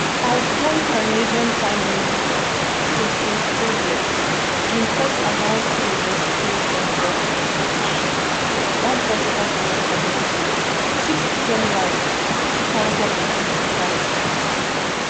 outgone canadian prime minister justin trudeau bin first announce im resignation for um one press conference on monday six january two thousand and twenty-five